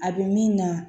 A bɛ min na